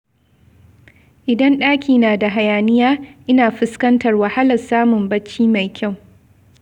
Idan ɗaki na da hayaniya, ina fuskantar wahalar samun bacci mai kyau.